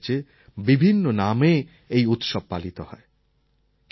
বিভিন্ন রাজ্যে বিভিন্ন নামে এই উৎসব পালিত হয়